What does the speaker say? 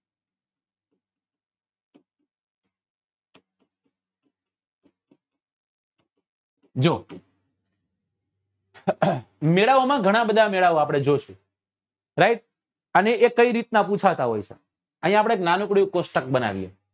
જો મેળા ઓ માં ગણા બધા મેળા ઓ અઆપડે જોયા right અને એ જે કઈ રીત નાં પુછાતા હોય અહી આપડે એક નાનકડું એવું કોષ્ટક બનાવીએ